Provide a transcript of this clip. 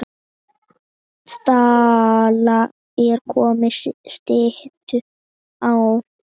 Stalla er komið styttum á.